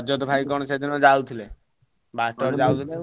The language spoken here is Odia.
ରଜତ ଭାଇ କଣ ସେଦିନ ଯାଉଥିଲେ।